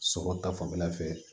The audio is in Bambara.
Sɔrɔ ta fanfɛla fɛ